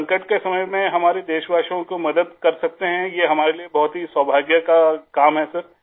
سر ، اس بحران کے دور میں ،ہمارے ہم وطنوں کو مدد کر سکتے ہیں ، یہ ہمارے لئے بہت ہی خوش قسمتی کا کام ہے